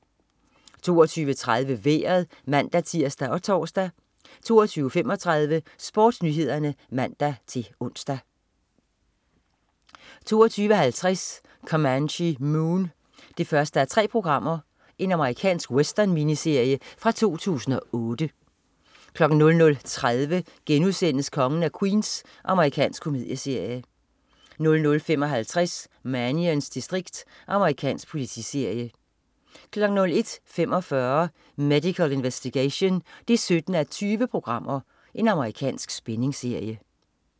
22.30 Vejret (man-tirs og tors) 22.35 SportsNyhederne (man-ons) 22.50 Comanche Moon 1:3. Amerikansk western-miniserie fra 2008 00.30 Kongen af Queens.* Amerikansk komedieserie 00.55 Mannions distrikt. Amerikansk politiserie 01.45 Medical Investigation 17:20. Amerikansk spændingsserie